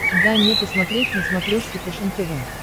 дай мне посмотреть на смотрешке фэшен тв